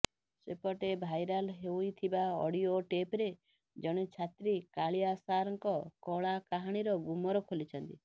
ସେପଟେ ଭାଇରାଲ ହୋଇଥିବା ଅଡିଓ ଟେପ୍ରେ ଜଣେ ଛାତ୍ରୀ କାଳିଆ ସାରଙ୍କ କଳାକାହାଣୀର ଗୁମର ଖୋଲିଛନ୍ତି